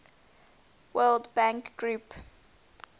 world bank group